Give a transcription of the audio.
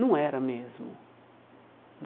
Não era mesmo.